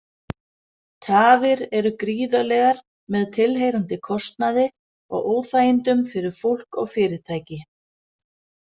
Tafir eru gríðarlegar með tilheyrandi kostnaði og óþægindum fyrir fólk og fyrirtæki.